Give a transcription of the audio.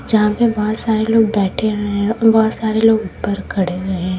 जहां पे बहोत सारे लोग बैठे हुए हैं बहोत सारे लोग ऊपर खड़े हुए हैं।